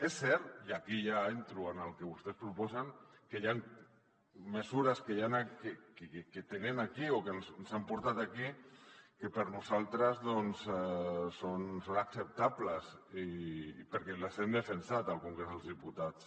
és cert i aquí ja entro en el que vostès proposen que hi han mesures que tenen aquí o que ens han portat aquí que per a nosaltres doncs són acceptables perquè les hem defensat al congrés dels diputats